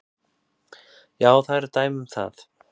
Já, það eru dæmi um það.